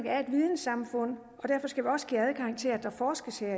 er et vidensamfund og til at der forskes her